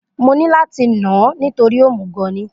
Mo ní láti nà án nítorí òmùgọ̀ ni